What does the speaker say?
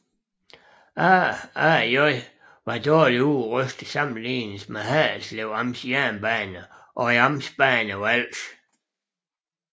AaAJ var dårligt udrustet sammenlignet med Haderslev Amts Jernbaner og Amtsbanerne på Als